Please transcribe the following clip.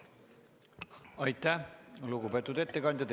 Aitäh, lugupeetud ettekandja!